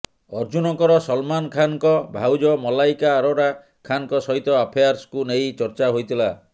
ଅର୍ଜୁନଙ୍କର ସଲମାନ୍ ଖାନ୍ଙ୍କ ଭାଉଜ ମଲ୍ଲାଇକା ଅରୋରା ଖାନଙ୍କ ସହିତ ଆଫେଆର୍କୁ ନେଇ ଚର୍ଚ୍ଚା ହୋଇଥିଲା